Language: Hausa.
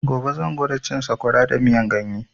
Gobe zan gwada cin sakwara da miyan ganye